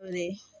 O ye